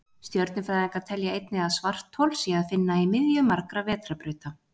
Stjörnufræðingar telja einnig að svarthol sé að finna í miðju margra vetrarbrauta.